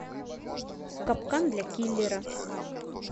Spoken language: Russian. капкан для киллера